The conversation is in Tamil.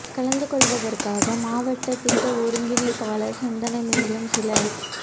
கலந்து கொள்வதற்காக மாவட்ட திட்ட ஒருங்கிணைப்பாளர் சந்தன மேலும் சில